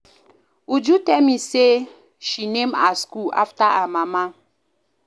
Uju tell me say she name her school after her mama